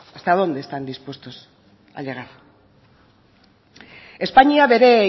hasta dónde están dispuestos a llegar espainia bere